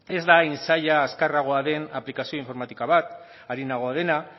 ez da hain zaila azkarragoa den aplikazio informatika bat arinagoa dena